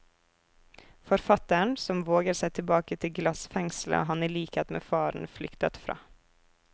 Forfatteren som våger seg tilbake til glassfengselet han i likhet med faren flyktet fra.